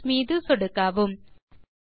close மீது சொடுக்கவும்